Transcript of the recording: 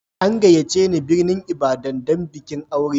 An gayyace ni birnin Ibadan don bikin aure.